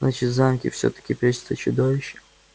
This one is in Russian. значит в замке всё-таки прячется чудовище